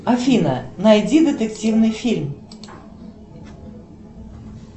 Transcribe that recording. афина найди детективный фильм